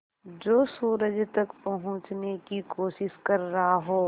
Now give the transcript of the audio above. जो सूरज तक पहुँचने की कोशिश कर रहा हो